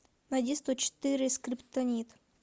найди сто четыре скриптонит